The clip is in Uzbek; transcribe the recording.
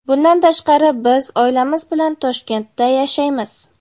Bundan tashqari, biz oilamiz bilan Toshkentda yashaymiz.